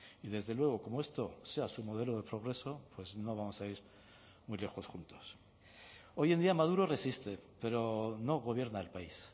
y desde luego como esto sea su modelo de progreso pues no vamos a ir muy lejos juntos hoy en día maduro resiste pero no gobierna el país